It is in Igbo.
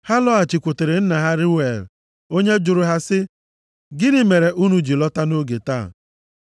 Ha lọghachikwutere nna ha, Reuel, + 2:18 Reuel bụ aha ọzọ e ji mara Jetro ọgọ Mosis. \+xt Ọpụ 3:1; Ọnụ 10:29\+xt* onye jụrụ ha sị, “Gịnị mere unu ji lọta nʼoge taa?”